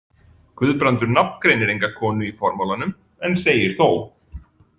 Guðbrandur nafngreinir enga konu í formálanum en segir þó: